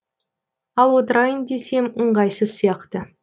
ал отырайын десем ыңғайсыз сияқты